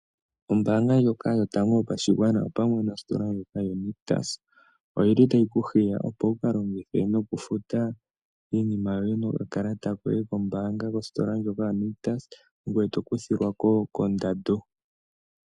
Ombaanga ndyoka yotango yopashigwana opamwe nositola ndyono yoNictus, oyili tayi ku hiya opo wukalongithe nokufuta iinima yoye nokakalata koye kombaanga kositola ndyoka yoNictus, ngwe tokuthilwako kondando.